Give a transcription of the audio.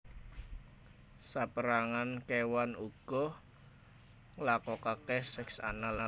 Sapérangan kéwan uga nglakokaké seks anal